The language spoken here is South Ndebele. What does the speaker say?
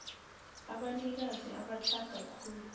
abanikazi abatlhaga khulu